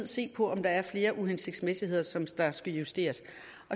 se på om der er flere uhensigtsmæssigheder som skal skal justeres